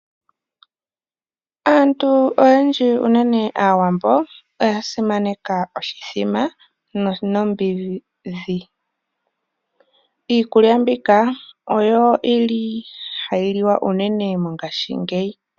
Aantu oyendji unene aawambo oya simaneka oshimbombo nomboga. Iikukya mbika oyo yili hayi liwa unene mongashingeyi.